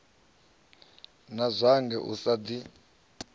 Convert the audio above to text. na zwanga u a ḓi